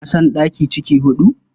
Na san ɗaki ciki huɗu.